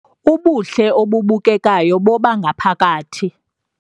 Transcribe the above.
Ubuhle obubukekayo bobangaphakathi